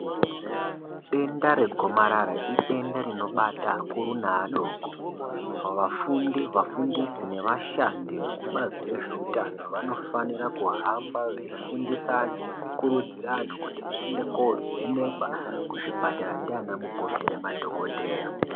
Denda regomarara idenda rinobata akuru neadoko. Vafundi ,vafundisi nevashandi vekubazi rezveutano, vanofanira kuhamba veifundisa antu nekukurudzira antu, kuti vaende koovhenekwa, kuzvipatara, ndianamukoti ngemadhokodheya.